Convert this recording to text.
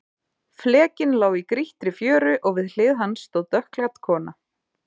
Flekinn lá í grýttri fjöru og við hlið hans stóð dökkklædd kona.